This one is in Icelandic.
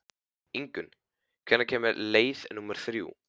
Ingunn, hvenær kemur leið númer þrjú?